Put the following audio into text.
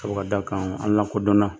Seku ka dakanw hali na kodɔnna